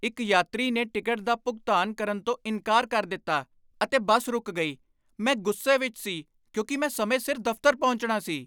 ਇੱਕ ਯਾਤਰੀ ਨੇ ਟਿਕਟ ਦਾ ਭੁਗਤਾਨ ਕਰਨ ਤੋਂ ਇਨਕਾਰ ਕਰ ਦਿੱਤਾ, ਅਤੇ ਬੱਸ ਰੁਕ ਗਈ। ਮੈਂ ਗੁੱਸੇ ਵਿਚ ਸੀ ਕਿਉਂਕਿ ਮੈ ਸਮੇਂ ਸਿਰ ਦਫ਼ਤਰ ਪਹੁੰਚਣਾ ਸੀ।